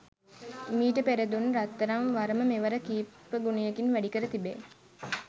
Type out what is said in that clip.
මීට පෙර දුන් රත්තරං වරම මෙවර කීපගුණයකින් වැඩිකර තිබේ.